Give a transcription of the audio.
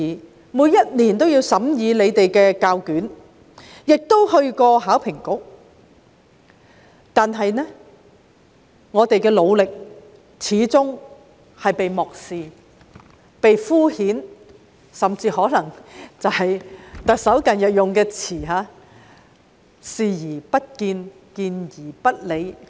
我們每年均審議教育局的試卷，亦嘗試聯絡香港考試及評核局，但我們的努力始終被漠視、被敷衍，甚至可以套用特首近日的說法，就是"視而不見、見而不理"。